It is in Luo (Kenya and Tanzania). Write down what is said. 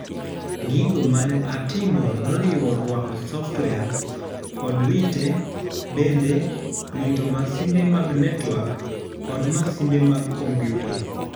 Gigo mane atimo noriwo ruako software, kod rite bende, rito masinde mag network kod masinde mag kompiuta.